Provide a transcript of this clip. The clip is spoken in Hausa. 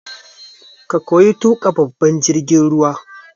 Ka koyi tuƙa babban jirgin ruwa!